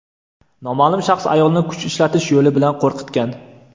Noma’lum shaxs ayolni kuch ishlatish yo‘li bilan qo‘rqitgan.